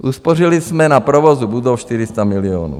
Uspořili jsme na provozu budov 400 milionů.